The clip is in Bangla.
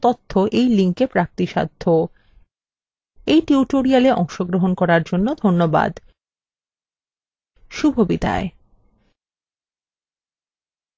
আমি অন্তরা এই টিউটোরিয়ালটি অনুবাদ এবং রেকর্ড করেছি এই টিউটোরিয়ালে অংশগ্রহন করার জন্য ধন্যবাদ শুভবিদায়